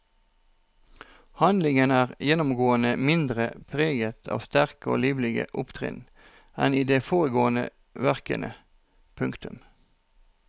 Handlingen er gjennomgående mindre preget av sterke og livlige opptrinn enn i de foregående verkene. punktum